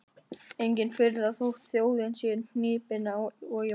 Engin furða þótt þjóðin sé hnípin og í vanda.